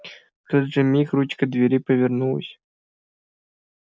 в тот же миг ручка двери повернулась